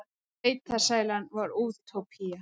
Sveitasælan var útópía.